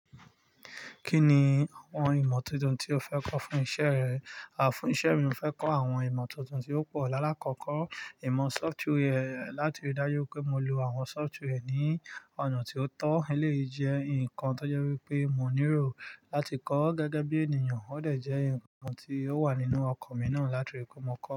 Kí ni àwọn ìmọ̀ tuntun tí o fẹ́ kọ́ fún isẹ́ rẹ? Fún isẹ́ mi, mo fẹ́ kọ́ àwọn ìmọ̀ tuntun tí ó pọ̀. Lálá kọ́ kọ́ ìmọ̀ software láti rí dájú pé mo lo àwọn software ní ọ̀nà tí ó tọ́. Eléyìí jẹ nǹkan tó jẹ́ wípé mo nílò láti kọ́ gẹ́gẹ́ bí ènìyàn. Ó de jẹ́ ǹkan tí ó wà nínú ọkọ̀ mi náà láti rí pé mo kọ́.